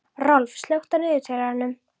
Rolf, slökktu á niðurteljaranum.